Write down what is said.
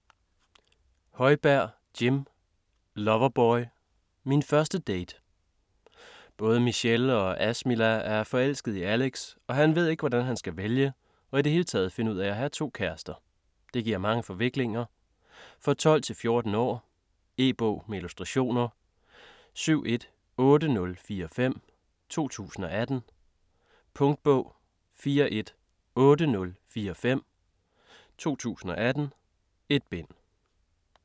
Højberg, Jim: Loverboy - min første date Både Michelle og Asmila er forelskede i Alex, og han ved ikke, hvordan han skal vælge og i det hele taget finde ud af at have to kærester. Det giver mange forviklinger. For 12-14 år. E-bog med illustrationer 718045 2018. Punktbog 418045 2018. 1 bind.